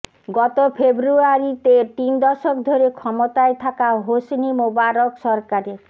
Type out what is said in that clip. গত ফেব্রুয়ারিতে তিন দশক ধরে ক্ষমতায় থাকা হোসনি মোবারক সরকারের